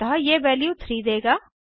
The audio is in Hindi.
अतः यह वैल्यू 3 देगा